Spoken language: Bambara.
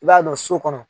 I b'a don so kɔnɔ